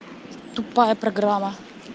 тупая программа